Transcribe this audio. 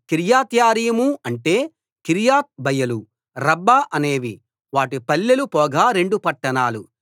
కిర్యత్యారీం అంటే కిర్యత్ బయలు రబ్బా అనేవి వాటి పల్లెలు పోగా రెండు పట్టణాలు